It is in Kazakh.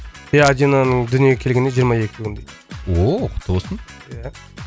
иә адинаның дүниеге келгеніне жиырма екі күн дейді ооо құтты болсын ия